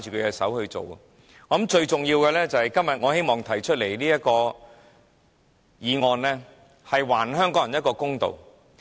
因此，我認為最重要的，就是今天我提出這項議案，是希望還香港人一個公道。